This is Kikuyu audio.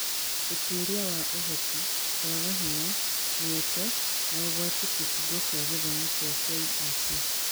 Ũtuĩria wa Ũhoti, kwaga hinya, mĩeke, na ũgwati kibungo kĩa gĩthomo kĩa KEC.